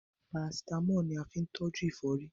Parasítámọ̀ la fín tọ́jú ẹ̀fọ́rí